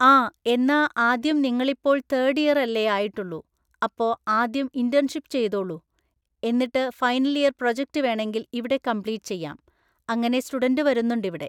ആ എന്നാ ആദ്യം നിങ്ങളിപ്പോൾ തേർഡ് ഇയർ അല്ലേ ആയിട്ടുള്ളൂ അപ്പം ആദ്യം ഇന്റേൺഷിപ് ചെയ്തോളൂ എന്നിട്ട് ഫൈനൽ ഇയർ പ്രൊജക്റ്റ്‌ വേണങ്കില് ഇവിടെ കംപ്ലീറ്റ് ചെയ്യാം അങ്ങനെ സ്റ്റുഡന്റ്‌സ് വരുന്നുണ്ട് ഇവിടെ